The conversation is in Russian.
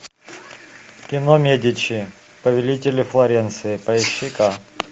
кино медичи повелители флоренции поищи ка